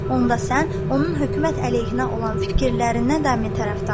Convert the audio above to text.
Onda sən onun hökumət əleyhinə olan fikirlərinə dəmi tərəfdarsan?